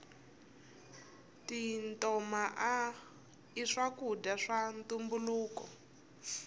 tintoma i swakudya swa ntumbuluko